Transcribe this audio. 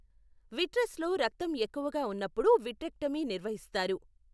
విట్రస్లో రక్తం ఎక్కువగా ఉన్నప్పుడు విట్రెక్టమీ నిర్వహిస్తారు.